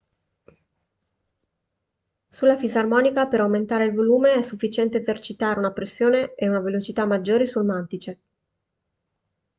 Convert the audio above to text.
sulla fisarmonica per aumentare il volume è sufficiente esercitare una pressione e una velocità maggiori sul mantice